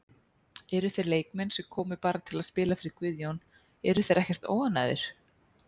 En þeir leikmenn sem komu bara til að spila fyrir Guðjón, eru þeir ekkert óánægðir?